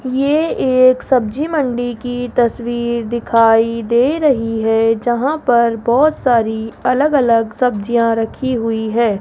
ये एक सब्जी मंडी की तस्वीर दिखाई दे रही है जहां पर बहोत सारी अलग अलग सब्जियां रखी हुई है।